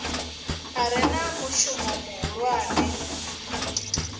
a re na mushumo muhulwane